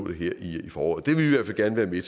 det her i foråret det vil vi